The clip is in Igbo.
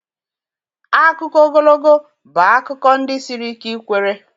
Akụkọ ogologo bụ akụkọ ndi siri ike ikwere.